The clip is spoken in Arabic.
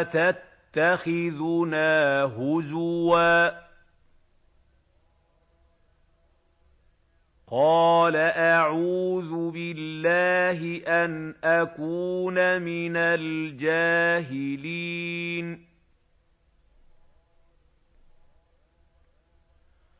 أَتَتَّخِذُنَا هُزُوًا ۖ قَالَ أَعُوذُ بِاللَّهِ أَنْ أَكُونَ مِنَ الْجَاهِلِينَ